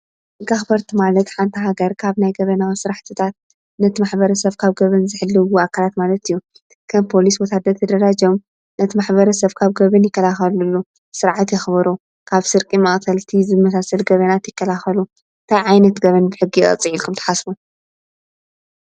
ሕጊ ኣክበርቲ ማለት ሓንታ ሃገር ካብ ናይ ገበናዊ ሥራሕትታት ነቲ ማኅበረ ሰብ ካብ ገብን ዘሕልዎ ኣካላት ማለት እዩ። ከም ፖሊስ፣ ወታደር፣ ደራጀዮም ነቲ ማሕበረ ሰብ ካብ ገብን ይከልኸሉሉ፣ ስርዐት የኽበሩ ካብ ስርቂ መቅተልቲ ዝመሳሰል ገበናት ይከልኸሉ። ታይ ዓይነት ገበን ብሕጊ የቅፅዕ ኢልኩም ተሓስቡ?